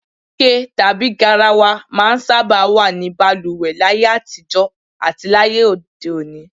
Ike tàbí garawa máa ń sábà wà ní balùwè láyé àtijó̩ àti lóde òní